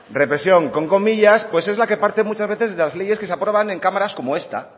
represión con comillas pues es la que parte muchas veces de las leyes que se aprueban en cámaras como esta